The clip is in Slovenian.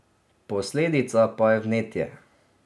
Posledica pa je vnetje.